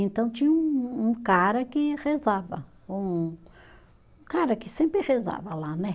Então tinha um um cara que rezava, um cara que sempre rezava lá, né?